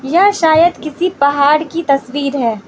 यह शायद किसी पहाड़ की तस्वीर है।